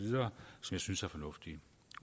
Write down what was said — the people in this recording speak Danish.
synes er fornuftige